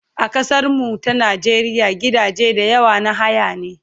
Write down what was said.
A kasar mu ta Najeriya gidaje da yawa na haya ne